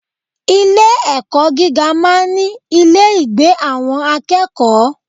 Ilé ẹ̀kọ́ gíga máa ń ní ilé ìgbé àwọn akẹ́kọ̀ọ́.